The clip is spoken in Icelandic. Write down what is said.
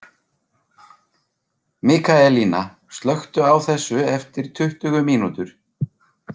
Mikaelína, slökktu á þessu eftir tuttugu mínútur.